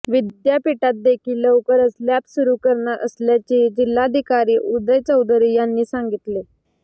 विद्यापीठात देखील लवकरच लॅब सुरू करणार असल्याचेही जिल्हाधिकारी उदय चौधरी यांनी सांगितले